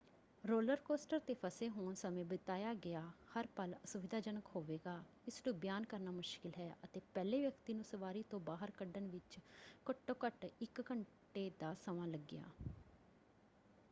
Roller coaster 'ਤੇ ਫਸੇ ਹੋਣ ਸਮੇਂ ਬਿਤਾਇਆ ਗਿਆ ਹਰ ਪਲ ਅਸੁਵਿਧਾਜਨਕ ਹੋਵੇਗਾ ਇਸਨੂੰ ਬਿਆਨ ਕਰਨਾ ਮੁਸ਼ਕਿਲ ਹੈ ਅਤੇ ਪਹਿਲੇ ਵਿਅਕਤੀ ਨੂੰ ਸਵਾਰੀ ਤੋਂ ਬਾਹਰ ਕੱਢਣ ਵਿੱਚ ਘੱਟੋ ਘੱਟ ਇੱਕ ਘੰਟੇ ਦਾ ਸਮਾਂ ਲੱਗਿਆ।